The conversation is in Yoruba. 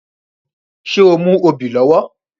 Ṣé o mú obì lọ́wọ́